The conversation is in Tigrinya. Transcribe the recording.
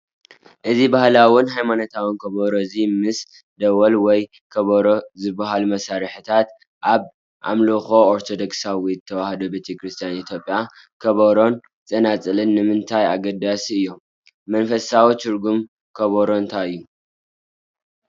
እዚባህላዊን ሃይማኖታውን ከበሮ እዚ ምስ ደወል ወይ ከበሮ ዝበሃሉ መሳርሒታት ኣብ ኣምልኾ ኦርቶዶክሳዊት ተዋህዶ ቤተ ክርስቲያን ኢትዮጵያ ከበሮን ጸናጽልን ንምንታይ ኣገዳሲ እዩ፡፡ መንፈሳዊ ትርጉም ከበሮ እንታይ እዩ?